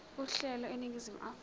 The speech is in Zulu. uhlelo eningizimu afrika